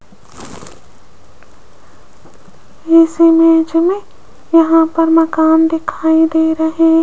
इस इमेज में यहां पर मकान दिखाई दे रहे --